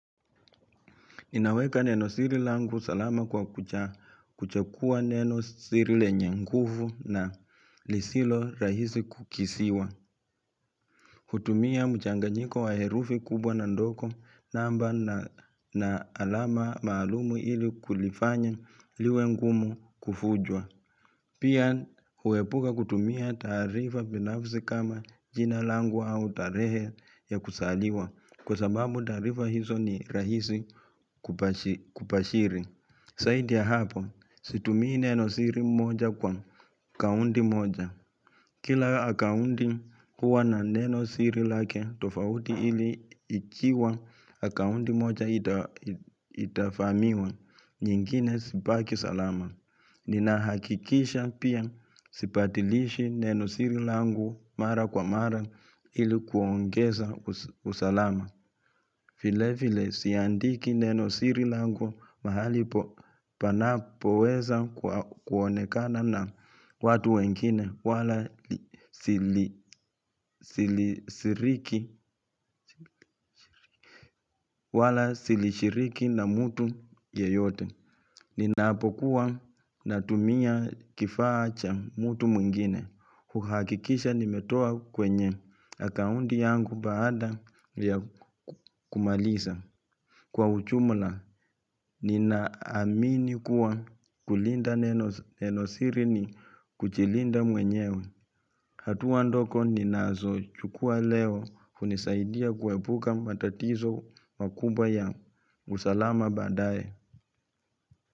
Ninaweka neno siri langu salama kwa kuchagua neno siri lenye nguvu na lisilo rahisi kukisiwa. Kutumia mchanganyiko wa herufi kubwa na ndogo namba na alama maalumu ili kulifanya liwe ngumu kufujwa. Pia huepuka kutumia taarifa binafzi kama jina langu au tarehe ya kusaliwa Kwa sababu taarifa hizo ni rahisi kupashiri zaidi ya hapo situmii neno siri moja kwa akaundi moja Kila akaundi huwa na neno siri lake tofauti ili ikiwa akaundi moja itafamiwa nyingine sipaki salama Nina hakikisha pia sipatilishi neno sirilangu mara kwa mara ilikuongeza usalama vile vile siandiki neno sirilangu mahali panapo weza kuonekana na watu wengine wala silishiriki na mutu yeyote ni naapokuwa na tumia kifaa cha mutu mwingine kuhakikisha nimetoa kwenye Akaundi yangu baada ya kumalisa Kwa ujumula, ni naamini kuwa kulinda nenosiri ni kujilinda mwenyewe hatua ndogo ni nazo chukua leo unisaidia kuepuka matatizo makubwa ya usalama baadaye.